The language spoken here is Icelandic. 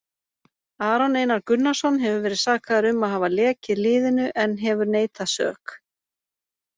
Aron Einar Gunnarsson hefur verið sakaður um að hafa lekið liðinu en hefur neitað sök.